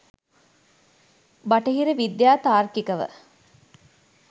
බටහිර විද්‍යාව තාර්කිකව